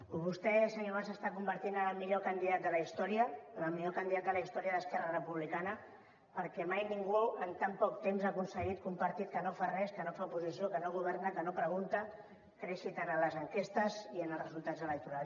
i vostè senyor mas s’està convertint en el millor candidat de la història en el millor candidat de la història d’esquerra republicana perquè mai ningú en tan poc temps ha aconseguit que un partit que no fa res que no fa oposició que no governa que no pregunta creixi tant a les enquestes i en els resultats electorals